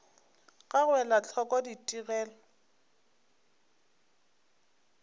ga go ela hloko ditigelo